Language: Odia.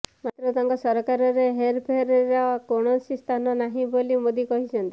ମାତ୍ର ତାଙ୍କ ସରକାରରେ ହେରଫେରର କୌଣସି ସ୍ଥାନ ନାହିଁ ବୋଲି ମୋଦି କହିଛନ୍ତି